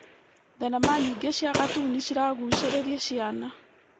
Thenema nyingĩ cia gatuni ciragucĩrĩria ciana.